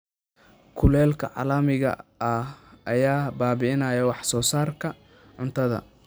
Kulaylka caalamiga ah ayaa baabi'inaya wax soo saarka cuntada.